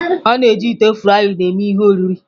A na-eji ite frying eme ihe oriri.